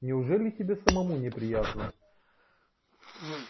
неужели тебе самому не приятно